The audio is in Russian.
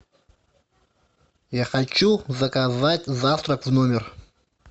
я хочу заказать завтрак в номер